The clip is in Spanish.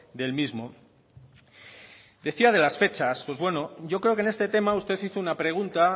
del mismo decía de las fechas pues bueno yo creo que en este tema usted hizo una pregunta